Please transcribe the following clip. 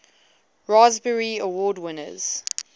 raspberry award winners